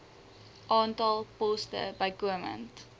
aantal poste bykomend